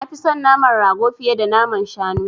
Nafi son naman rago fiye da naman shanu.